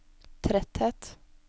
tretthet